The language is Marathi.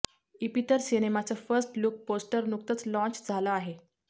इपितर सिनेमाचं फस्ट लूक पोस्टर नुकतंच लाँच झालं आहे